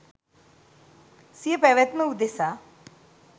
සිය පැවත්ම උදෙසා